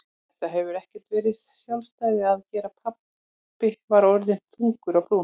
Þetta hefur ekkert með sjálfstæði að gera pabbi var orðinn þungur á brún.